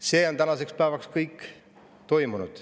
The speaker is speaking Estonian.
See on tänaseks päevaks kõik toimunud.